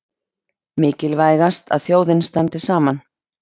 Mikilvægast að þjóðin standi saman